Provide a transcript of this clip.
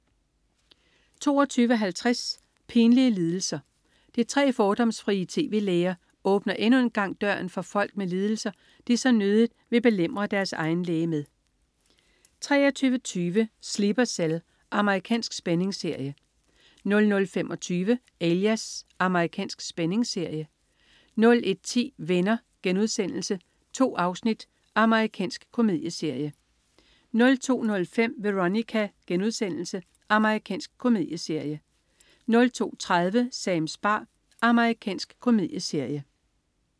22.50 Pinlige lidelser. De tre fordomsfrie tv-læger åbner endnu en gang døren for folk med lidelser, de så nødigt vil belemre deres egen læge med 23.20 Sleeper Cell. Amerikansk spændingsserie 00.25 Alias. Amerikansk spændingsserie 01.10 Venner.* 2 afsnit. Amerikansk komedieserie 02.05 Veronica.* Amerikansk komedieserie 02.30 Sams bar. Amerikansk komedieserie